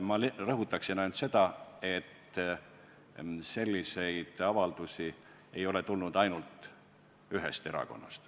Ma rõhutaksin üksnes seda, et selliseid avaldusi ei ole tulnud ainult ühest erakonnast.